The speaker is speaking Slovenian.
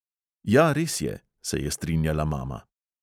"Ja, res je," se je strinjala mama.